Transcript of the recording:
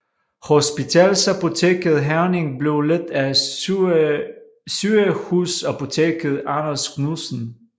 Hospitalsapoteket Herning blev ledt af sygehusapoteker Anders Knudsen